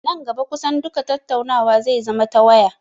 Nan gaba kusan duka tattaunawa zai zama ta waya